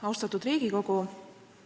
Austatud Riigikogu!